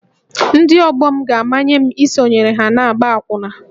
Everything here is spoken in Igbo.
Ndị ọgbọ m ga-amanye m isonyere ha n’ịgba akwụna